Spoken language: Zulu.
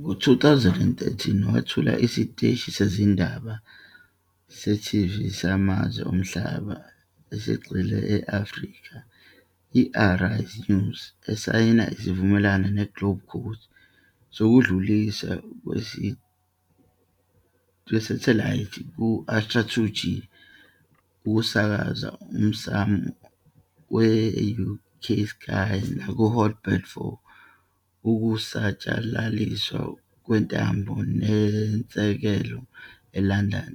Ngo-2013 wethula isiteshi sezindaba se-TV samazwe omhlaba esigxile e-Afrika, i- Arise News, esayina isivumelwano neGlobecast sokudluliswa kwesathelayithi ku- Astra 2G ukusakazwa emsamo we-UK Sky nakuHot Bird for ukusatshalaliswa kwentambo, enezisekelo eLondon,